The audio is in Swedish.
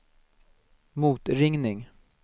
motringning